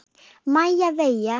Maja Veiga.